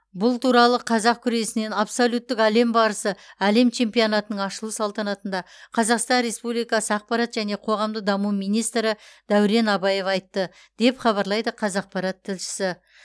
бұл туралы қазақ күресінен абсолюттік әлем барысы әлем чемпионатының ашылу салтанатында қазақстан республикасы ақпарат және қоғамдық даму министрі дәурен абаев айтты деп хабарлайды қазақпарат тілшісі